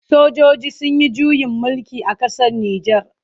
Sojoji sun yi juyin mulki a ƙasar Nijar.